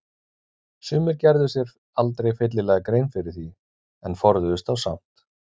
Sumir gerðu sér aldrei fyllilega grein fyrir því en forðuðust þá samt.